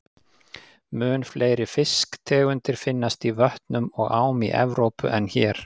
Mun fleiri fisktegundir finnast í vötnum og ám í Evrópu en hér.